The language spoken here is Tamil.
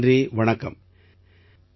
ரொம்ப ரொம்ப நன்றி வணக்கம்